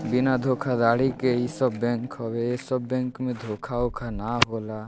बिना धोखाधड़ी के इ सब बैंक हवे इ सब बैंक में धोखा-ओखा न होला --